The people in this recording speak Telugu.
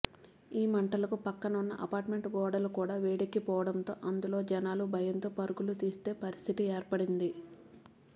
ఈ మంటలకు పక్కన ఉన్న అపార్ట్మెంట్ గోడలు కూడా వేడెక్కిపోవడంతో అందులో జనాలు భయంతో పరుగులు తీసే పరిస్తితి ఏర్పడింది